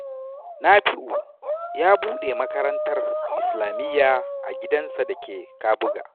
Nafi’u ya buɗe makarantar islamiyya a gidansa da ke Kabuga.